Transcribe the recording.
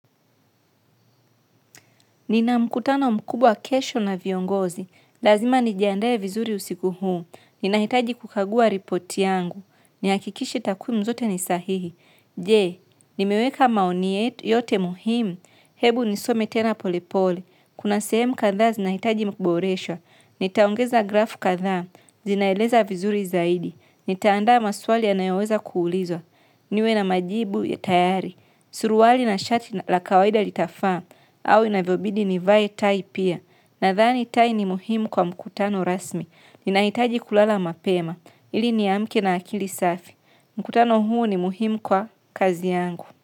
Nina mkutano mkubwa kesho na viongozi, lazima nijiandae vizuri usiku huu, nina hitaji kukagua ripoti yangu ni hakikishe takwimu zote nisahihi, jee, nimeweka maoni yote muhimu, hebu nisome tena polepole, kuna sehemu kathaa zinahitaji kuboreshwa, nitaongeza grafu katha, zinaeleza vizuri zaidi, nitaanda maswali yanayoweza kuulizwa, niwe na majibu ya tayari, suruali na shati la kawaida litafaa au inavyobidi nivae tai pia. Nadhani tai ni muhimu kwa mkutano rasmi. Ninahitaji kulala mapema. Ili ni amke na akili safi. Mkutano huu ni muhimu kwa kazi yangu.